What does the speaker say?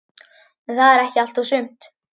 En það er ekki allt og sumt.